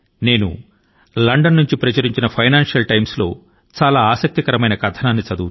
నేను లండన్ నుండి అచ్చయిన ఫైనాన్షియల్ టైమ్స్ లో ఒక చాలా ఆసక్తిదాయకమైనటువంటి ఒక కథనాన్ని చదివాను